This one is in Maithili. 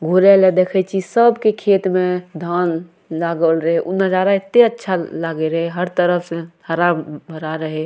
घूरे ले देखय छी सबके खेत में धान लागल रहे उ नजारा एते अच्छा ए लागे रहे हर तरफ से हरा-भरा रहे ।